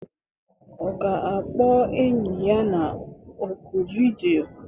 Ọ ga-akpọ enyi ya na oku vidiyo?